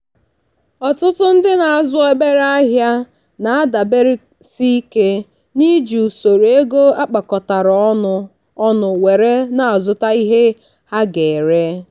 ọtụtụ ndị na-azụ obere ahịa na-adaberesike n'iji usoro ego akpakọtara ọnụ ọnụ were na-azụta ihe ha ga-ere.